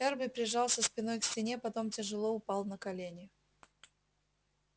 эрби прижался спиной к стене потом тяжело упал на колени